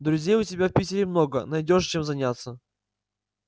друзей у тебя в питере много найдёшь чем заняться